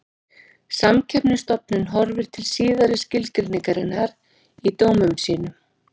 Samkeppnisstofnun horfir til síðari skilgreiningarinnar í dómum sínum.